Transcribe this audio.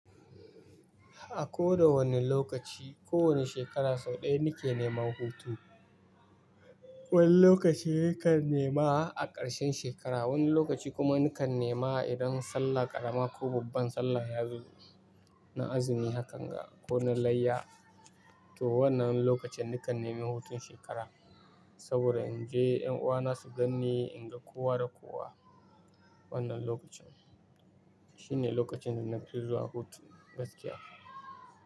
A koda wanne lokaci, ko wanne shekara sau ɗaya ni ke neman hutu. Wani lokaci nakan nema a ƙarshen shekara, wani lokaci kuma nikan nema idan Sallah ƙarama ko babban Sallah ya zo. Na azumi haka kan ga ko na layya. To wannan lokacin nikan nemi hutun shekara, saboda in je ƴan uwana su ganni, in ga kowa da kowa. Wannan lokacin shine lokacin da na fi zuwa hutu gaskiya.